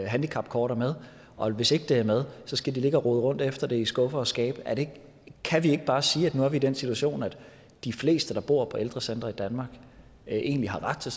handicapkort er med og at hvis ikke det er med skal de ligge og rode rundt efter det i skuffer og skabe kan vi ikke bare sige at nu er vi i den situation at de fleste der bor på ældrecentre i danmark egentlig har ret til